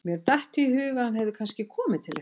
Mér datt í hug að hann hefði kannski komið til ykkar.